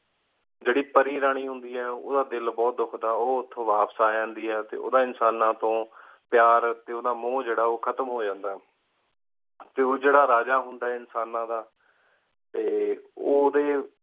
ਜਾਰੀ ਪਾਰੀ ਰਾਨੀ ਹੁੰਦੀ ਆਯ ਉਨਾਦਾ ਦਿਲ ਬੁਹਤ ਧੁਖਦਾ ਉ ਉਠਉਣ ਵਾਪਸ ਅਜੰਦੀ ਆਯ ਉੜਾ ਇਨਸਾਨਾ ਤੂੰ ਪ੍ਯਾਰ ਟੀ ਉਜਿਰਾ ਮੂਨ ਓਖਾਤ੍ਮ ਹੂ ਜਾਂਦਾ ਟੀ ਉਜਿਰਾ ਰਾਜਾ ਹੁੰਦਾ ਆਯ ਇਨਸਾਨਾ ਦਾ ਟੀ ਓਡੀ